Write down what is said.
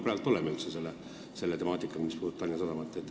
Kaugel sellega praegu ollakse?